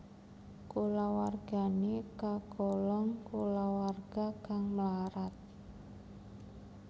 Kulawargane kagolong kulawarga kang mlarat